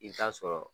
I bɛ taa sɔrɔ